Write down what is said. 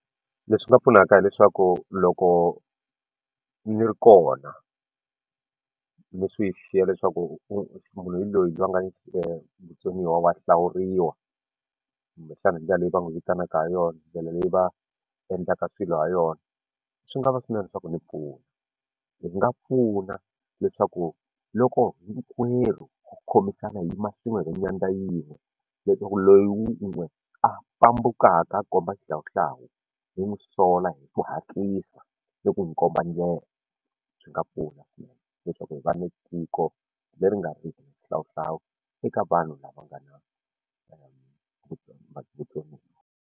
Leswi nga pfunaka leswaku loko ni ri kona ni swi xiya leswaku munhu hi loyi a nga ni vutsoniwa wa hlawuriwa kumbexana hi ndlela leyi va n'wi vitanaka ha yona ndlela leyi va endlaka swilo ha yona swi nga va swinene leswaku ni pfuna hi nga pfuna leswaku loko hinkwerhu ku khomisana hi yima swin'we hi va nyandza yin'we leswaku loyi wun'we a fambukaka a komba xihlawuhlawu hi n'wi sola hi ku hatlisa ni ku n'wi komba ndlela swi nga pfuna swinene leswaku hi va na tiko leri nga riki na xihlawuhlawu eka vanhu lava nga na vutsoniwa.